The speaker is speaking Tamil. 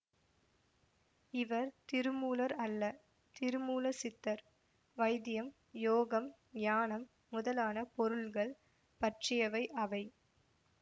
இவர் திருமூலர் அல்ல திருமூல சித்தர் வைத்தியம் யோகம் ஞானம் முதலான பொருள்கள் பற்றியவை அவை